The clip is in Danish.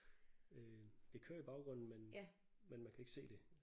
Øh det kører i baggrunden men men man kan ikke se det